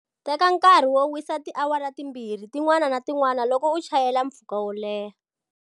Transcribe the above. Teka nkarhi wo wisa tiawara timbirhi tin'wana na tin'wana loko u chayela mpfhuka wo leha.